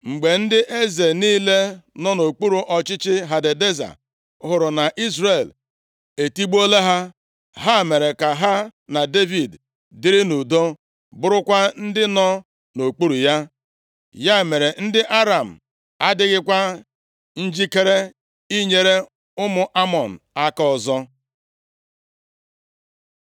Mgbe ndị eze niile nọ nʼokpuru ọchịchị Hadadeza hụrụ na Izrel etigbuola ha, ha mere ka ha na Devid dịrị nʼudo, bụrụkwa ndị nọ nʼokpuru ya. Ya mere, ndị Aram adịghịkwa njikere inyere ụmụ Amọn aka ọzọ.